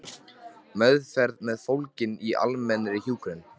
Meðferð er fólgin í almennri hjúkrun.